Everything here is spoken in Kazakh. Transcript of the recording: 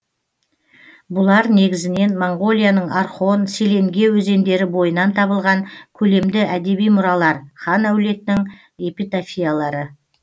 бұлар негізінен моңғолияның орхон селенге өзендері бойынан табылған көлемді әдеби мұралар хан әулетінің эпитафиялары